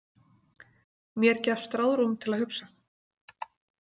Mér gefst ráðrúm til að hugsa.